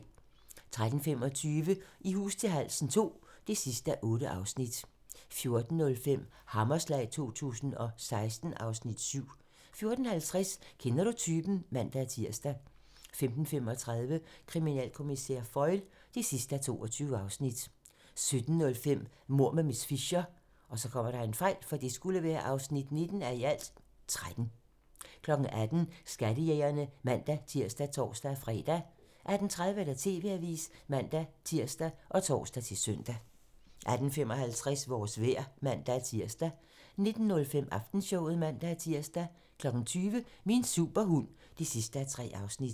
13:25: I hus til halsen II (8:8) 14:05: Hammerslag 2016 (Afs. 7) 14:50: Kender du typen? (man-tir) 15:35: Kriminalkommissær Foyle (22:22) 17:05: Mord med miss Fisher (19:13) 18:00: Skattejægerne (man-tir og tor-fre) 18:30: TV-avisen (man-tir og tor-søn) 18:55: Vores vejr (man-tir) 19:05: Aftenshowet (man-tir) 20:00: Min superhund (3:3)